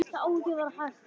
Fórum við Eydís Ben.